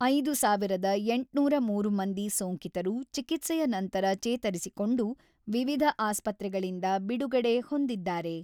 ಐದು ಸಾವಿರದ ಎಂಟುನೂರ ಮೂರು ಮಂದಿ ಸೋಂಕಿತರು ಚಿಕಿತ್ಸೆಯ ನಂತರ ಚೇತರಿಸಿಕೊಂಡು ವಿವಿಧ ಆಸ್ಪತ್ರೆಗಳಿಂದ ಬಿಡುಗಡೆ ಹೊಂದಿದ್ದಾರೆ.